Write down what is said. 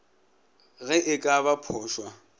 ge e ka ba phošwa